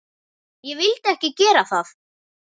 Ég vildi ekki gera það.